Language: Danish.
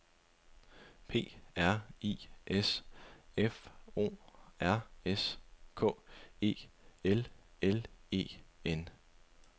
P R I S F O R S K E L L E N